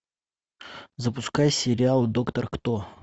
запускай сериал доктор кто